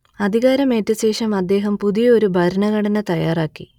അധികാരമേറ്റശേഷം അദ്ദേഹം പുതിയ ഒരു ഭരണഘടന തയ്യാറാക്കി